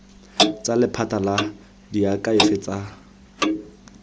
tsa lephata la diakhaefe tsa